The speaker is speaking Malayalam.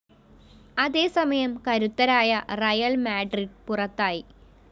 അതേസമയം കരുത്തരായ റിയൽ മാഡ്രിഡ് പുറത്തായി